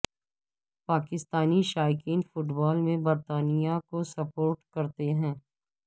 پاکستانی شائقین football میں برطانیہ کو سپورٹ کرتے ہیں